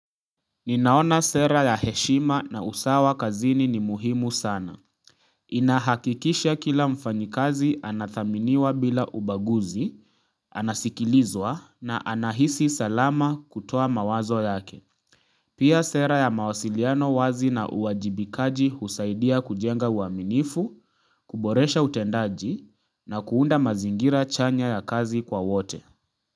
Ninaona sera ya heshima na usawa kazini ni muhimu sana Inahakikisha kila mfanyikazi anathaminiwa bila ubaguzi Anasikilizwa na anahisi salama kutoa mawazo yake Pia sera ya mawasiliano wazi na uwajibikaji husaidia kujenga uaminifu, kuboresha utendaji na kuunda mazingira chanya ya kazi kwa wote.